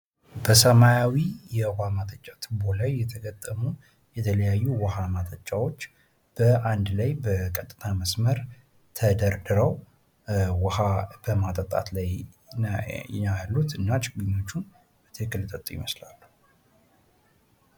በሰማያዊ የውሃ ማጠጫ ቱቦ ላይ የተገጠሙ የተለያዩ ውሃ ማጠጫዎች በአንድ ላይ በቀጥታ መስመር ተደርድረው በውሃ በማጠጣት ላይ ያሉት እና ችግኞቹ በትክክል የጠጡ ይመስላሉ።